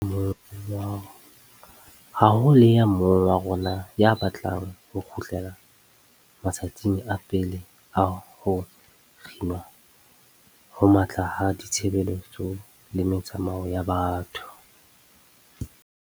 Ha ho le ya mong wa rona ya batlang ho kgutlela ma tsatsing a pele a ho kginwa ho matla ha ditshebeletso le metsamao ya batho.